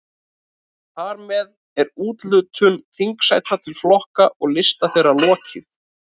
Þar með er úthlutun þingsæta til flokka og lista þeirra lokið.